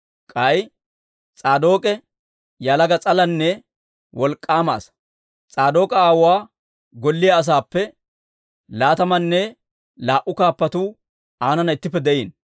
K'ay S'aadook'e yalaga s'alanne wolk'k'aama asaa; S'aadook'a aawuwaa golliyaa asaappe laatamanne laa"u kaappatuu aanana ittippe de'iino.